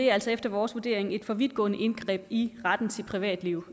er altså efter vores vurdering et for vidtgående indgreb i retten til privatliv